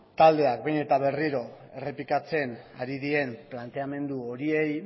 taldeak behin eta berriro errepikatzen ari diren planteamendu horiei